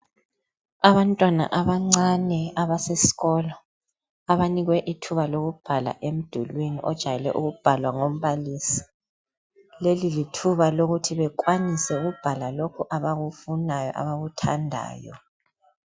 Abantwana abancane abasesikolo abanikwe ithuba lokubhala emdulwini ojwayele ukubhalwa ngombalisi leli lithuba lokuthi bekwanise ukubhala lokhu abakufunayo abakuthandayo.